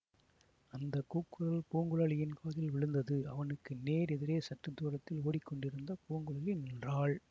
அந்த கூக்குரல் பூங்குழலியின் காதில் விழுந்தது அவனுக்கு நேர் எதிரே சற்று தூரத்தில் ஓடிக் கொண்டிருந்த பூங்குழலி நின்றாள்